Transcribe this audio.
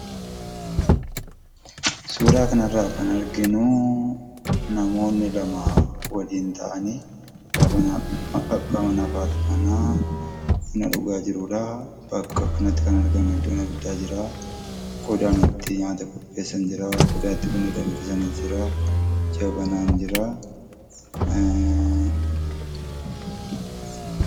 suuraa kana irra kan arginu namoonni lama waliin ta'ani ( abba manaaf haati mana) buna dhugaa kan jiranidha. Bakka kanatti kan argamu iddoon abiddaa jira. iddoon itti nyaata qopheessan jira. Iddoon itti buna danfisanis jira. Jabanaan jira.